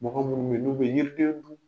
Mɔgɔ munun be yen, n'u be ye pewu.